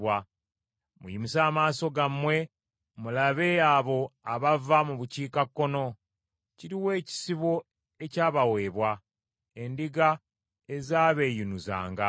Muyimuse amaaso gammwe mulabe abo abava mu bukiikakkono. Kiruwa ekisibo ekyabaweebwa, endiga ezaabeeyinuzanga?